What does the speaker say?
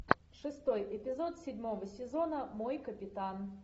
шестой эпизод седьмого сезона мой капитан